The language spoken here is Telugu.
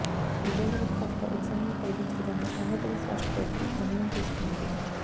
విద్యార్థులకు కాస్త ఉపశమనం కలిగించే విధంగా ఆంధ్రప్రదేశ్ రాష్ట్ర ప్రభుత్వం నిర్ణయం తీసుకున్నది